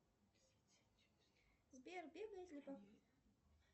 сбер